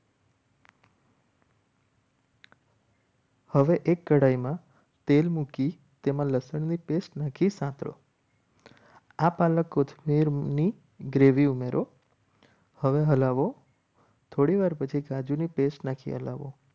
હવે એક કડાઈમાં તેલ મૂકી તેમાં લસણની પેસ્ટ નાખી સાતડો આ પાલકની ગ્રેવી ઉમેરો હવે હલાવો થોડીવાર પછી કાજુની પેસ્ટ નાખી હલાવો.